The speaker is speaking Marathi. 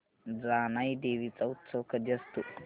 जानाई देवी चा उत्सव कधी असतो